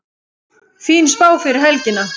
Fín spá fyrir helgina